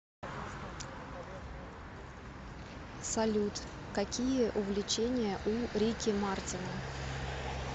салют какие увлечения у рики мартина